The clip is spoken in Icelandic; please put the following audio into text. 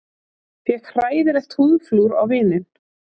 Fékk hræðilegt húðflúr á vininn